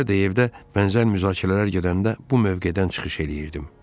Əvvəllər də evdə bənzər müzakirələr gedəndə bu mövqedən çıxış eləyirdim.